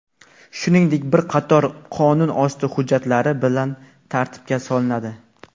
shuningdek bir qator qonunosti hujjatlari bilan tartibga solinadi.